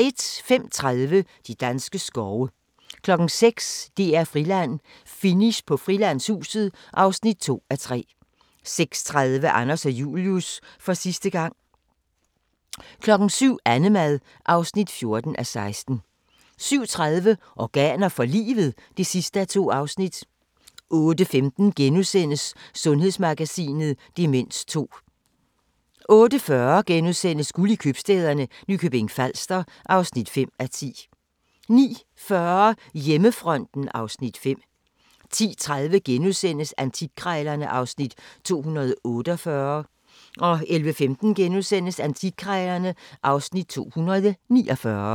05:30: De danske skove 06:00: DR-Friland: Finish på Frilandshuset (2:3) 06:30: Anders og Julius – for sidste gang 07:00: Annemad (14:16) 07:30: Organer for livet? (2:2) 08:15: Sundhedsmagasinet: Demens 2 * 08:40: Guld i købstæderne – Nykøbing Falster (5:10)* 09:40: Hjemmefronten (Afs. 5) 10:30: Antikkrejlerne (Afs. 248)* 11:15: Antikkrejlerne (Afs. 249)*